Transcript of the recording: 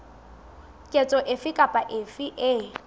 ketso efe kapa efe e